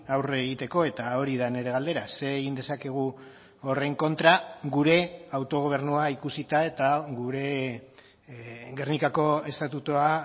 aurre egiteko eta hori da nire galdera zer egin dezakegu horren kontra gure autogobernua ikusita eta gure gernikako estatutua